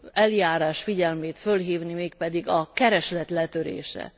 eljárás figyelmét fölhívni, mégpedig a kereslet letörése.